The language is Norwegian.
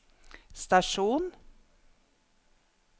stasjon